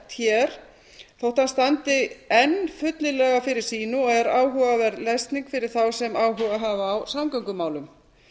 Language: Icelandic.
hér þótt hann standi enn fyllilega fyrir sínu og er áhugaverð lesning fyrir þá sem áhuga hafa á samgöngumálum